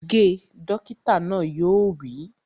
Ge! Dókítà náà yóò wí